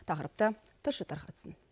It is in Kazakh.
тақырыпты тілші тарқатсын